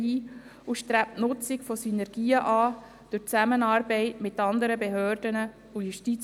Sie haben dem Kredit mit 128 Ja- gegen 2 Nein-Stimmen bei 0 Enthaltungen zugestimmt.